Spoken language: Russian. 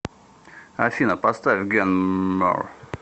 афина поставь ген мор